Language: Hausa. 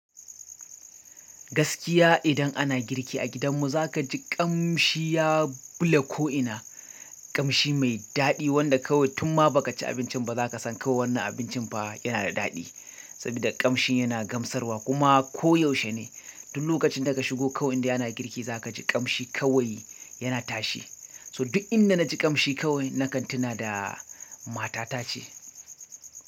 Gaskiya idan ana girki a gidan mu za kaji ƙamshi ya bule ko ina. Ƙamshi mai daɗi wanda kawai tun ma baka ci abinci ba zakasan kawai wannan abincin fah yana da daɗi sabida ƙamshin yana gamsarwa kuma koyaushe ne. Duk lokacin da ka shigo kawai indai ana girki zaka ji ƙamshi kawai yana tashi to duk inda naji ƙamshi kawai nakan tuna da matatace.